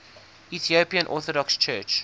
ethiopian orthodox church